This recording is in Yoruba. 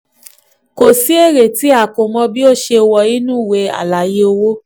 ko si èrè tí si èrè tí a ko mọ tí wọ̀ inú àlàyé owó.